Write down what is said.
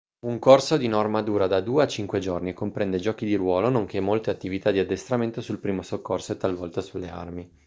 un corso di norma dura da 2 a 5 giorni e comprende giochi di ruolo nonché molte attività di addestramento sul primo soccorso e talvolta sulle armi